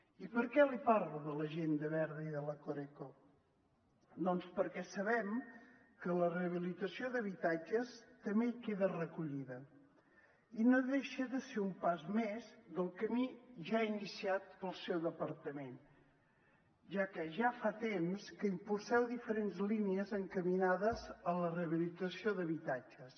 i per què li parlo de l’agenda verda i de la coreco doncs perquè sabem que la rehabilitació d’habitatges també hi queda recollida i no deixa de ser un pas més del camí ja iniciat pel seu departament ja que ja fa temps que impulseu diferents línies encaminades a la rehabilitació d’habitatges